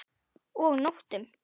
Og nóttum!